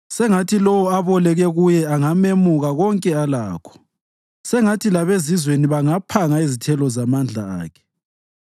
Sengathi lowo aboleke kuye angamemuka konke alakho; sengathi labezizweni bangaphanga izithelo zamandla akhe.